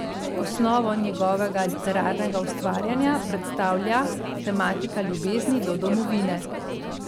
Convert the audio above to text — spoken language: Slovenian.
Osnovo njegovega literarnega ustvarjanja predstavlja tematika ljubezni do domovine.